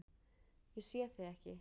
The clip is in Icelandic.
Ég sé þig ekki.